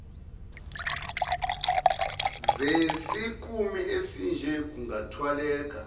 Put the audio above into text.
zesikimu esinje kungathwaleka